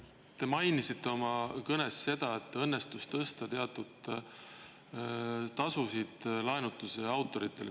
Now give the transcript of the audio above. Te mainisite oma kõnes seda, et õnnestus tõsta teatud tasusid, laenutustasusid, autoritele.